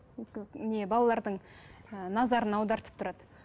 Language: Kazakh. не балалардың ыыы назарын аудартып тұрады